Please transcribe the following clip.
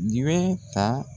Di bɛ ta